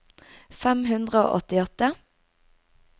fem hundre og åttiåtte